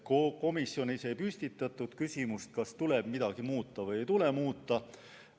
Komisjonis ei püstitatud küsimust, kas tuleb midagi muuta või ei tule muuta.